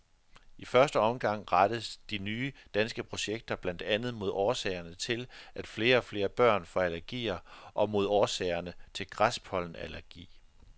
I første omgang rettes de nye danske projekter blandt andet mod årsagerne til, at flere og flere børn får allergier og mod årsagerne til græspollenallergi.